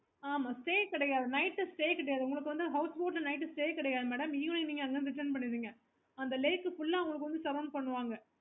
okay